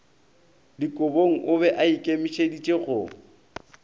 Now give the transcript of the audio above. dikobong o be aikemišeditše go